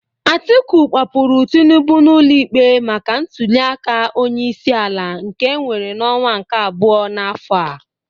Atiku kpọpụrụ Tinubụ n'ụlọ ikpe maka ntuliaka onye isi ala nke enwere n'ọnwa nke abụo n'afọ a